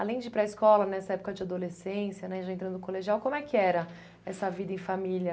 Além de ir para a escola nessa época de adolescência né, já entrando no colegial, como é que era essa vida em família?